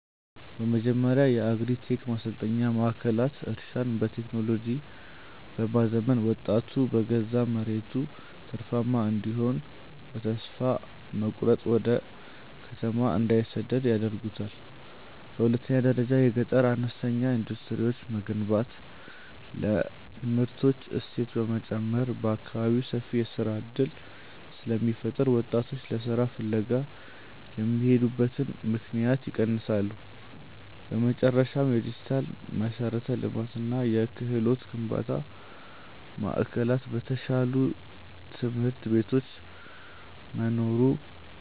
በመጀመሪያ የአግሪ-ቴክ ማሰልጠኛ ማዕከላት እርሻን በቴክኖሎጂ በማዘመን ወጣቱ በገዛ መሬቱ ትርፋማ እንዲሆንና በተስፋ መቁረጥ ወደ ከተማ እንዳይሰደድ ያደርጉታል። በሁለተኛ ደረጃ የገጠር አነስተኛ ኢንዱስትሪዎችን መገንባት ለምርቶች እሴት በመጨመር በአካባቢው ሰፊ የሥራ ዕድል ስለሚፈጥሩ ወጣቶች ለሥራ ፍለጋ የሚሄዱበትን ምክንያት ያስቀራሉ። በመጨረሻም፣ የዲጂታል መሠረተ ልማትና የክህሎት ግንባታ ማዕከላት በተሻሉ ትምህርት ቤቶች መኖሩ